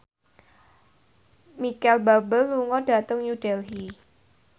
Micheal Bubble lunga dhateng New Delhi